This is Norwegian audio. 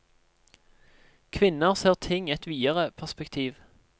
Kvinner ser ting i et videre perspektiv.